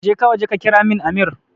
Jeka waje ka kiramin amir